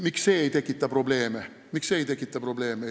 Miks see probleeme ei tekita?